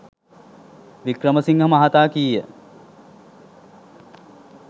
වික්‍රමසිංහ මහතා කීය.